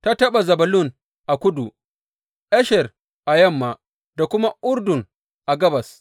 Ta taɓa Zebulun a kudu, Asher a yamma, da kuma Urdun a gabas.